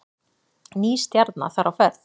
Ný stjarna þar á ferð